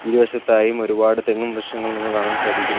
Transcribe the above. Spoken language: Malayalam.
ഇരു വശത്തായും ഒരുപാട് തെങ്ങും വൃക്ഷങ്ങളും നമുക്ക് കാണാൻ സാധിക്കുന്നു.